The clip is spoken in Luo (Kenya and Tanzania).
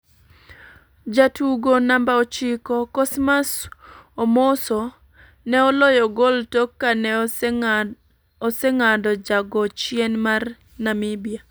Jatugo namba ochiko ,Cosmas Omoso ne oloyo gol tok kane osenga'do ja go chien mar Namibia.